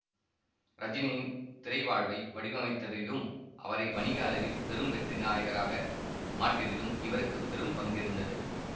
ரஜினியின் திரைவாழ்வை வடிவமைத்ததிலும் அவரை வணிக அளவில் பெரும் வெற்றி நாயகராக மாற்றியதிலும் இவருக்கு பெரும் பங்கிருந்தது